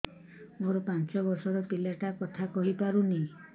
ମୋର ପାଞ୍ଚ ଵର୍ଷ ର ପିଲା ଟା କଥା କହି ପାରୁନି